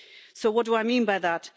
So what do I mean by that?